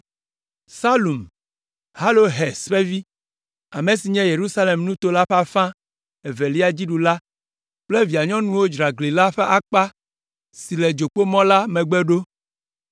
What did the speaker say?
Salum, Halohes ƒe vi, ame si nye Yerusalem nuto la ƒe afã evelia dziɖula la kple via nyɔnuwo dzra gli la ƒe akpa si le Dzokpomɔ la megbe ɖo.